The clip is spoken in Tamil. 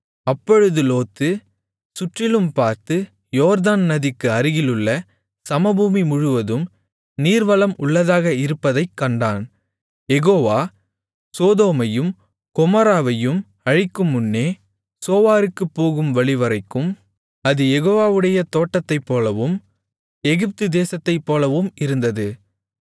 அப்பொழுது லோத்து சுற்றிலும் பார்த்து யோர்தான் நதிக்கு அருகிலுள்ள சமபூமி முழுவதும் நீர்வளம் உள்ளதாக இருப்பதைக்கண்டான் யெகோவா சோதோமையும் கொமோராவையும் அழிக்கும்முன்னே சோவாருக்குப் போகும் வழிவரைக்கும் அது யெகோவாவுடைய தோட்டத்தைப்போலவும் எகிப்து தேசத்தைப்போலவும் இருந்தது